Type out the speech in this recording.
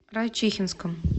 райчихинском